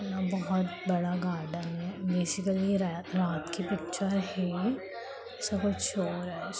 यहां बहुत बड़ा गार्डेन है बेसिकली ये रैए-रात की पिक्‍चर है इसमें कुछ शो हो रहा है।